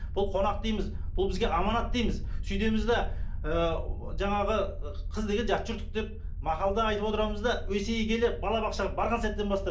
бұл қонақ дейміз бұл бізге аманат дейміз сөйтеміз де ы жаңағы қыз деген жат жұрттық деп мақалда айтып отырамыз да есейе келе балабақшаға барған сәттен бастап